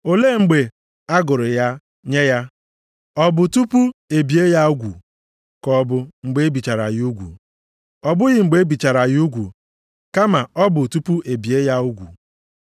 Olee mgbe a gụrụ ya nye ya? Ọ bụ tupu e bie ya ugwu, ka ọ bụ mgbe e bichara ya ugwu? Ọ bụghị mgbe e bichara ya ugwu kama ọ bụ tupu e bie ya ugwu.